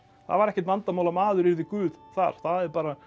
það var ekkert vandamál að maður yrði guð þar það er bara